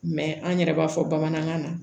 Mɛ an yɛrɛ b'a fɔ bamanankan na